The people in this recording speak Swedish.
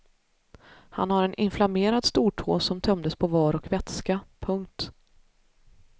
Han har en inflammerad stortå som tömdes på var och vätska. punkt